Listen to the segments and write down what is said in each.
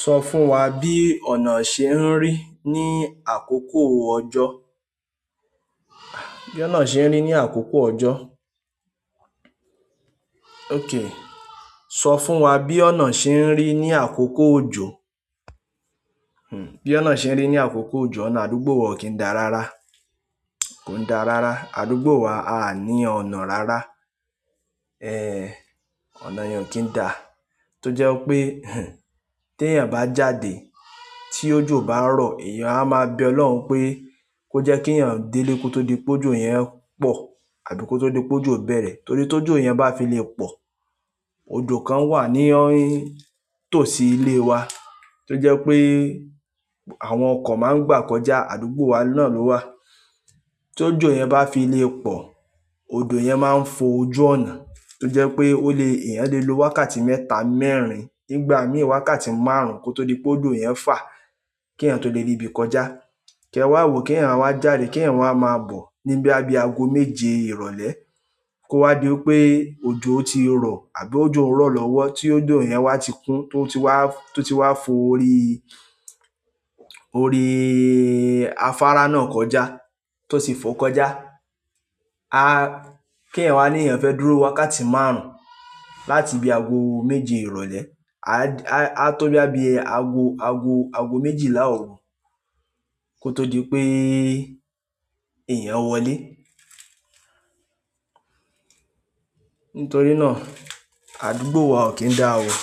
Sọ fún wa bí ọ̀nà ṣe ń rí ní àkókò òjò. Bí ómà ṣe ń rí ní àkókò òjò. Okay, sọ fún wa bí ọ̀nà ṣe ń rí ní àkókò òjò. Bí ọ̀nà ṣe ń rí ní àkókò òjò, ọ̀nà àdúgbò wa ò kí ń da rárá, kò ń da rárá. Àdúgbò wa aà ní ọnà rárá. Ọ̀nà yẹn ò kí ń da. Tó jẹ́ wí pé, tí èèyàn bá jáde tí òjò bá rọ̀, èèyàn á máa bẹ Olóhun pé kó jẹ́ kí èèyàn délé kó tó di pé òjò yẹn pọ̀ àbí kó tó di pé òjò bẹ̀rẹ̀. Torí tójò yẹn bá fi le pọ̀, odò kan wà ní tòsí ilé wa tó jẹ́pé àwọn okọ̀ má ń gbà kọjá àdúgbò wa náà ló wà. Tó òjò yẹn bá fi lè pọ̀, odò yẹn máa ń fo ojú ọ̀nà, tó jẹ́ pé ó le-- èèyàn le lo wákàtí mẹ́ta, mẹ́rin, nígbà míì wákàtí márùn-ún kó tó di pé odò yẹn fà kí èèyàn tó le rí ibi kọjá. Kí ẹ wá wò kí èèyàn wa jáde, kí ẹ̀wọ̀n a máa bọ̀ ní bóyá bí ago méje ìrọ̀lẹ́. Kó wá di wí pé òjò ti rọ̀ àbí òjò rọ̀ lọ́wọ́ tí odò yẹn wá ti kún, tó ti wá, tó ti wá fo orí, orí afárá náà kọjá, tó ti fòó kọjá. Kí èyàn wá ní èèyàn fẹ́ dúró wákàtí márùn ún láti bí ago méje ìrọ̀lẹ́. A tó bóyá bi ago, ago, ago méjìlá òru kó tó di pé èèyàn wọlé. Nítorí náà, àdúgbò wa ò kín dáa oo.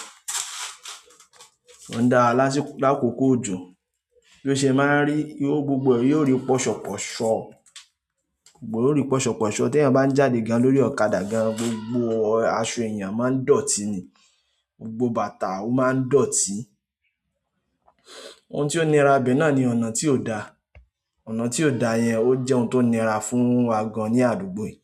Ń da lásìkò lákòkó òjò. Bí o ṣe máa ń rí, yóó gbogbo ẹ̀ yóó rí pọ̀ṣọ̀pọ̀ṣọ̀, gbogbo ẹ̀ óó rìí pọ̀ṣọ̀pọ̀ṣọ̀. Tí èèyàn bá ń jáde gan lórí ọ̀kadà gan, gbogbo aṣọ èèyàn máa ń dọ̀tí ni. Gbogbo bàtà ó maá ń dọ̀tí. Ohun tí ó nira bẹ̀ náà ni ọ̀nà tí ò dáa. Ọ̀nà tí ò dàa yẹn ó jẹ́ ohun tó nira fún wa gan ní àdúgbò yìí.